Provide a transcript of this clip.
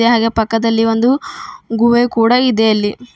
ಹಾಗೆ ಪಕ್ಕದಲ್ಲಿ ಒಂದು ಗುಹೆ ಕೂಡ ಇದೆ ಅಲ್ಲಿ.